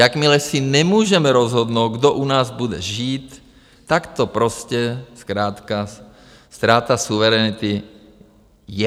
Jakmile si nemůžeme rozhodnout, kdo u nás bude žít, tak to prostě zkrátka ztráta suverenity je.